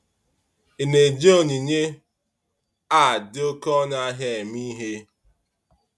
Ị na-eji onyinye a dị oké ọnụ ahịa eme ihe?